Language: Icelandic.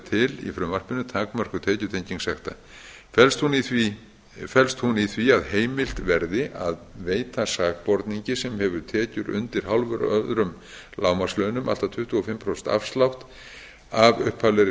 til í frumvarpinu takmörkuð tekjutenging sekta felst hún í því að heimilt verði að veita sakborningi sem hefur tekjur undir hálfum öðrum lágmarkslaunum allt að tuttugu og fimm prósent afslátt af upphaflegri